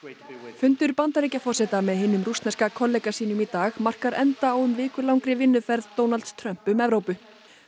fundur Bandaríkjaforseta með hinum rússneska kollega sínum í dag markar enda á um vikulangri vinnuferð Donalds Trumps um Evrópu